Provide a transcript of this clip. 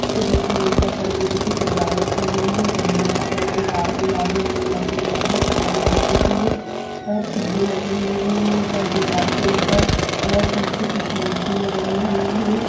जिसमें ऊपर पन्नियों की सजावट की गई हैं पन्नियों का कलर लाल गुलाबी नीला पीला बहुत सारे रंगों की हैं फुग्गे लगे हुए हैं ऊपर दीवार के ऊपर पीछे कुछ मूर्तियाँ बनी हुई हैं।